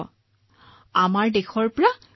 corona ৰোগ আমাৰ দেশৰ পৰা গুচি যাব লাগে